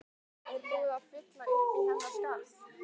Er búið að fylla uppí hennar skarð?